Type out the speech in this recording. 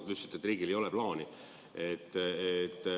Te ütlesite, et riigil ei ole plaani.